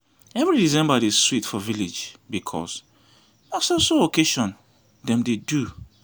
every december dey sweet for village because na so so occasion dem dey do